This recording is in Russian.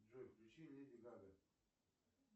джой включи леди гага